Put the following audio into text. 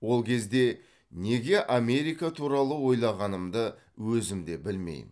ол кезде неге америка туралы ойлағанымды өзім де білмеймін